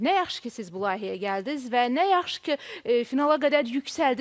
Nə yaxşı ki, siz bu layihəyə gəldiniz və nə yaxşı ki, finala qədər yüksəldiz.